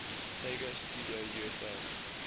sega studio usa